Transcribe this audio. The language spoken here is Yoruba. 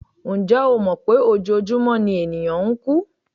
Ǹjẹ́ o mọ̀ pé ojoojúmọ́ ni ènìyàn ń kú?